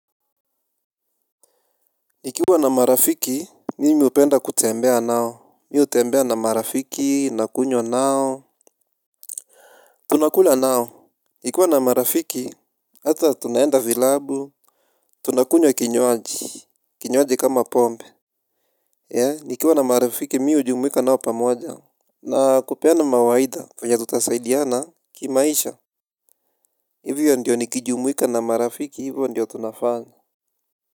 Nikiwa na marafiki, mimi hupenda kutembea nao, mimi hutembea na marafiki, nakunywa nao, tunakula nao. Nikiwa na marafiki, hata tunaenda vilabu, tunakunywa kinywaji, kinywaji kama pombe. Nikiwa na marafiki, mimi hujumuika nao pamoja. Na kupeana mawaida vyenye tutasaidiana kimaisha, hivyo ndiyo nikijumuika na marafiki hivyo ndiyo tunafanya.